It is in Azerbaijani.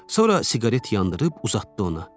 Sonra siqaret yandırıb uzatdı ona.